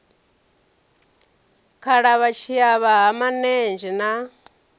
khalavha tshiavha ha manenzhe na